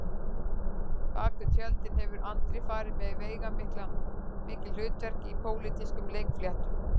Bak við tjöldin hefur Andri farið með veigamikil hlutverk í pólitískum leikfléttum